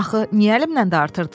Axı niyə əlimnən dartırdın?